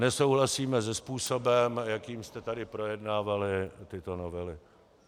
Nesouhlasíme se způsobem, jakým jste tady projednávali tyto novely.